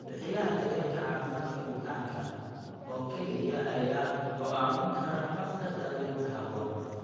Bixiyaha daryeelka caafimaadka bukaanka oo keliya ayaa go'aamin kara habka daawaynta habboon.